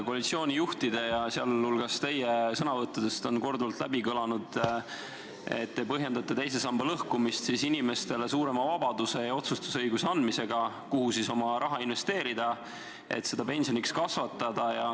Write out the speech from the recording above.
Koalitsiooni juhtide, sh teie sõnavõttudes on korduvalt kõlanud, et te põhjendate teise samba lõhkumist sooviga anda inimestele suurem vabadus ja otsustusõigus, kuhu oma raha investeerida, et seda pensioniks kasvatada.